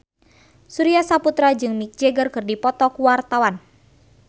Surya Saputra jeung Mick Jagger keur dipoto ku wartawan